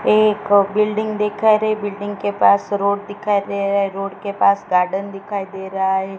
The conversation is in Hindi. एक बिल्डिंग दिखाई रही बिल्डिंग के पास रोड दिखाई दे रहा है रोड के पास गार्डन दिखाई दे रहा है।